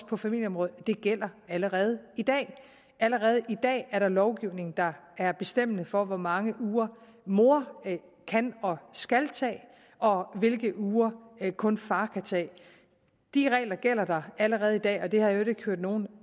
på familieområdet det gælder allerede i dag allerede i dag er der lovgivning der er bestemmende for hvor mange uger mor kan og skal tage og hvilke uger kun far kan tage de regler gælder allerede i dag og det har jeg i øvrigt ikke hørt nogen